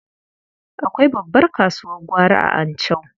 Akwai babbar kasuwar gwari a Anchau.